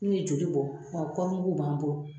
N'u ye joli bɔ ɔ kɔɔrimuguw b'an bolo